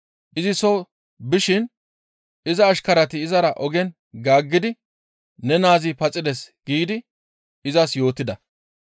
Izi soo bishin iza ashkarati izara ogen gaaggidi, «Ne naazi paxides» giidi izas yootida.